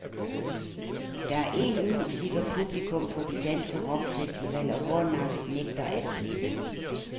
Der er én musiker, publikum på de danske rockfestivaler hårdnakket nægter at slippe.